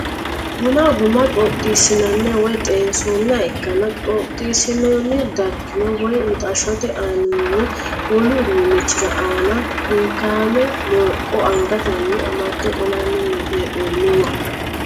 Bunu guma xoxxiissinoonniha woy xeensoonniha ikkanna, xoxxiissinoonni darginni woy mixashshote aaninni wolu uduunnichi aanira hinkaame mooqqo angatenni amade qollanni hee'noonniwa.